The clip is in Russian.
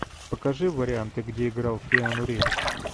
покажи варианты где играл киану ривз